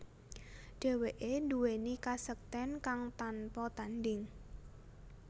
Dheweke nduweni kasekten kang tanpa tandhing